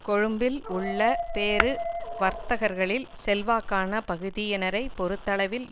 கொழும்பில் உள்ள பெரு வர்த்தகர்களில் செல்வாக்கான பகுதியினரைப் பொறுத்தளவில்